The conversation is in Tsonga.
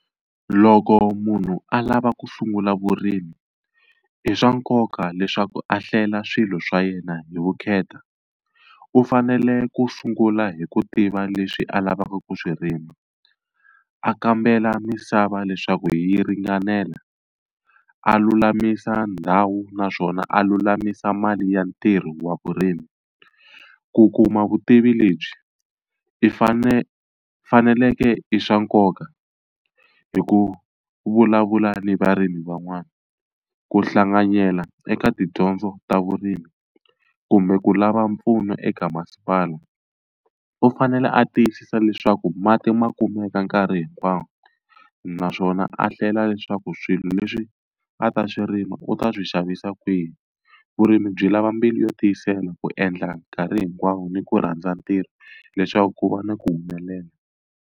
Loko munhu a lava ku sungula vurimi i swa nkoka leswaku a hlela swilo swa yena hi vukheta. U fanele ku sungula hi ku tiva leswi a lavaka ku swi rima, a kambela misava leswaku yi ringanela, a lulamisa ndhawu naswona a lulamisa mali ya ntirho wa vurimi. Ku kuma vutivi lebyi i fane faneleke i swa nkoka hi ku vulavula ni varimi van'wana ku hlanganyela eka tidyondzo ta vurimi kumbe ku lava mpfuno eka masipala. U fanele a tiyisisa leswaku mati ma kumeka nkarhi hinkwawo naswona a hlela leswaku swilo leswi a ta swi rima u ta swi xavisa kwihi. Vurimi byi lava mbilu yo tiyisela ku endla nkarhi hinkwawo ni ku rhandza ntirho leswaku ku va ni ku humelela